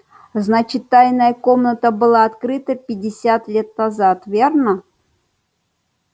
значит тайная комната была открыта пятьдесят лет назад верно